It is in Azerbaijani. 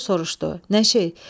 Koroğlu soruşdu: "Nə şey?"